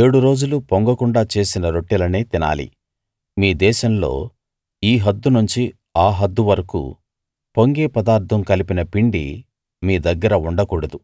ఏడు రోజులూ పొంగకుండా చేసిన రొట్టెలనే తినాలి మీ దేశంలో ఈ హద్దు నుంచి ఆ హద్దు వరకూ పొంగే పదార్థం కలిపిన పిండి మీ దగ్గర ఉండకూడదు